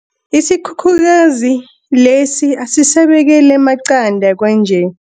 Isikhukhukazi lesi asisabekeli amaqanda kwanje.